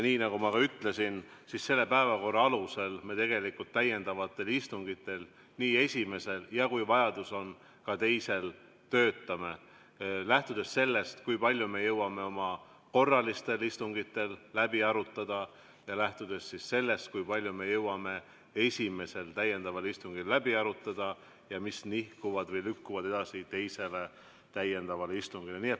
Nii nagu ma ka ütlesin, selle päevakorra alusel me tegelikult täiendavatel istungitel, nii esimesel ja, kui vajadus on, ka teisel, töötame, lähtudes sellest, kui palju me jõuame oma korralistel istungitel läbi arutada, ja lähtudes sellest, kui palju me jõuame esimesel täiendaval istungil läbi arutada ja mis nihkuvad või lükkuvad edasi teisele täiendavale istungile.